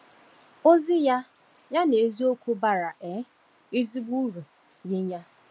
Ozi ya ya n’eziokwu bara um ezigbo uru nye anyị.